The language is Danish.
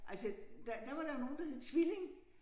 Altså der der var der jo nogen der hed Tvilling